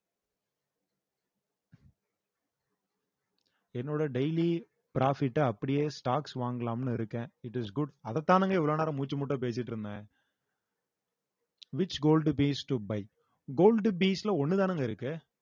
என்னோட daily profit அ அப்படியே stocks வாங்கலாம்னு இருக்கேன் it is good அதத்தானுங்க இவ்ளோ நேரம் மூச்சு முட்ட பேசிட்டு இருந்தேன் which gold based to bite gold bees ல ஒண்ணு தானுங்க இருக்கு